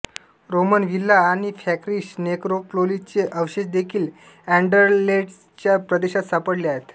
Roman villa आणि Frankish नेक्रोपोलिसचे अवशेष देखील अँडरलेच्टच्या प्रदेशात सापडले आहेत